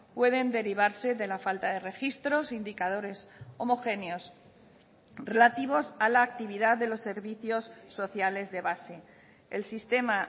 pueden derivarse de la falta de registros indicadores homogéneos relativos a la actividad de los servicios sociales de base el sistema